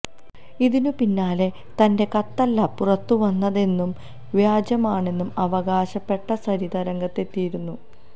ഇതിന് പിന്നാലെ തന്റെ കത്തല്ല പുറത്ത് വന്നതെന്നും വ്യാജമാണെന്നും അവകാശപ്പെട്ട സരിത രംഗത്തെത്തിയിരുന്നു